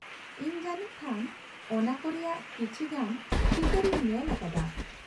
ᱤᱧ ᱡᱟᱱᱤᱡ ᱠᱷᱟᱱ ᱚᱱᱟ ᱠᱚ ᱨᱮᱭᱟᱜ ᱠᱟᱤᱪᱷᱤ ᱜᱟᱱ ᱪᱤᱛᱟᱹᱨ ᱤᱧ ᱧᱮᱞ ᱟᱠᱟᱫᱟ ᱾